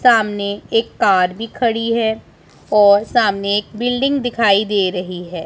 सामने एक कार भी खड़ी है और सामने एक बिल्डिंग दिखाई दे रही है।